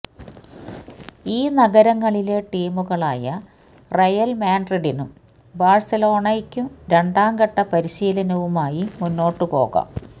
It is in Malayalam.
ഈ നഗരങ്ങളിലെ ടീമുകളായ റയല് മാഡ്രിഡിനും ബാഴ്സലോണയ്ക്കും രണ്ടാംഘട്ട പരിശീലനവുമായി മുന്നോട്ടുപോകാം